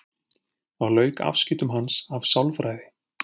Þá lauk afskiptum hans af sálfræði.